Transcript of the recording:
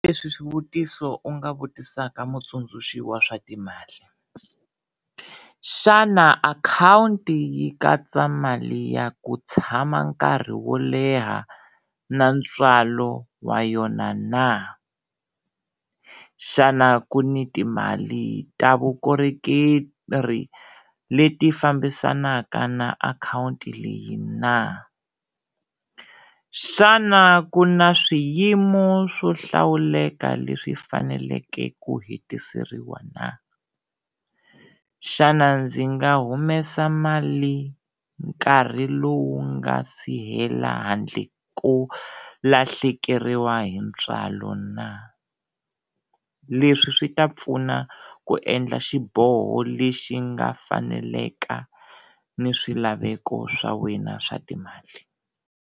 Leswi swivutiso u nga vutisaka mutsundzuxi wa swa timali, xana akhawunti yi katsa mali ya ku tshama nkarhi wo leha na ntswalo wa yona na? Xana ku ni timali ta vukorhokeri leti fambisanaka na akhawunti leyi na? Xana ku na swiyimo swo hlawuleka leswi faneleke ku hetiseriwa na? Xana ndzi nga humesa mali nkarhi lowu nga si hela handle ko lahlekeriwa hi ntswalo na? Leswi swi ta pfuna ku endla xiboho lexi nga faneleka ni swilaveko swa wena swa timali.